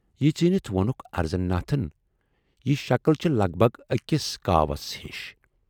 یہِ ژیٖنِتھ ووننکھ اَرزن ناتھن، یہِ شکٕل چھِ لگ بگ ٲکِس کاوَس ہِش